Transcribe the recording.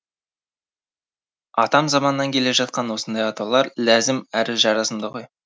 атам заманнан келе жатқан осындай атаулар ләзім әрі жарасымды ғой